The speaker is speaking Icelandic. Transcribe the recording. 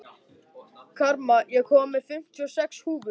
Karma, ég kom með fimmtíu og sex húfur!